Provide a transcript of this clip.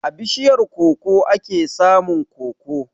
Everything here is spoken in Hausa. A bishiyar koko ake samun koko.